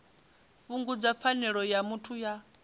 fhungudza pfanelo ya muthu ya